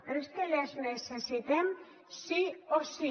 però és que les necessitem sí o sí